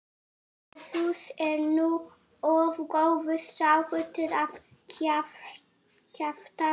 Jesús er nú of góður strákur til að kjafta frá.